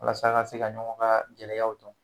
Walasa a ka se ka ɲɔgɔn ka gɛlɛyaw dɔn